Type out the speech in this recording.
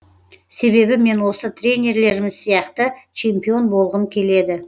себебі мен осы тренерларымыз сияқты чемпион болғым келеді